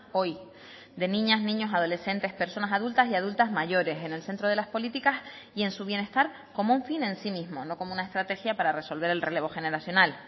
hoy de niñas niños adolescentes personas adultas y adultas mayores en el centro de las políticas y en su bienestar como un fin en sí mismo no como una estrategia para resolver el relevo generacional